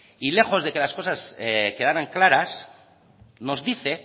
y lejos de que las cosas quedarán claras nos dice